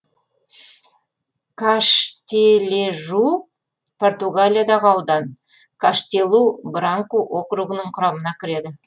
каштележу португалиядағы аудан каштелу бранку округінің құрамына кіреді